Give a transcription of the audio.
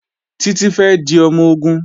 Títí fẹ́ di ọmọ-ogun